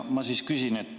Ma siis küsin.